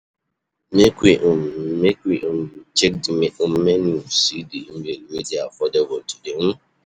Make we check di menu, see di meal wey dey affordable today.